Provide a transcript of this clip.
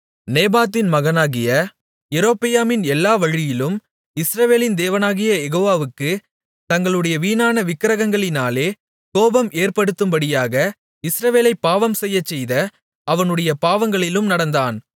நேபாத்தின் மகனாகிய யெரொபெயாமின் எல்லா வழியிலும் இஸ்ரவேலின் தேவனாகிய யெகோவாவுக்குத் தங்களுடைய வீணான விக்கிரகங்களாலே கோபம் ஏற்படுத்தும்படியாக இஸ்ரவேலைப் பாவம்செய்யச்செய்த அவனுடைய பாவங்களிலும் நடந்தான்